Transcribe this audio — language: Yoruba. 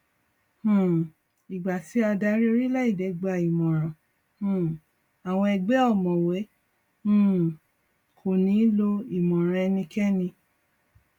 um ìgbà tí adarí orílẹèdè gbà ìmọràn um àwọn ègbé ọmọwé um kò ní lọ ìmọràn ẹnikẹni